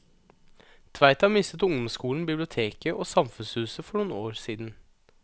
Tveita mistet ungdomsskolen, biblioteket og samfunnshuset for noen år siden.